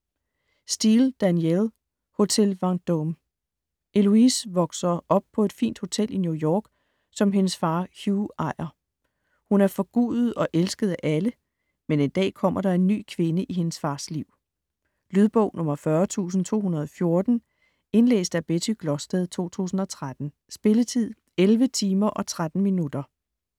Steel, Danielle: Hotel Vendôme Heloise vokser op på et fint hotel i New York, som hendes far Hugues ejer. Hun er forgudet og elsket af alle, men en dag kommer der en ny kvinde i hendes fars liv. Lydbog 40214 Indlæst af Betty Glosted, 2013. Spilletid: 11 timer, 13 minutter.